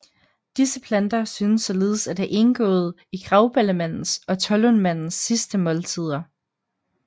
Disse planter synes således at have indgået i Grauballemandens og Tollundmandens sidste måltider